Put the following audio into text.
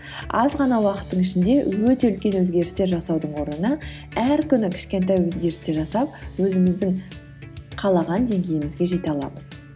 аз ғана уақыттың ішінде өте үлкен өзгерістер жасаудың орнына әр күні кішкентай өзгерістер жасап өзіміздің қалаған деңгейімізге жете аламыз